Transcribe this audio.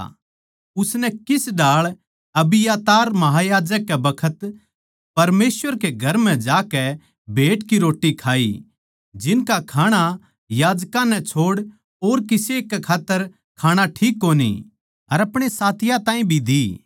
उसनै किस ढाळ अबियातार महायाजक कै बखत परमेसवर कै घर म्ह जाकै भेँट की रोट्टी खाई जिनका खाणा याजकां नै छोड़ और किसे कै खात्तर खाणा ठीक कोनी अर आपणे साथियाँ ताहीं भी दी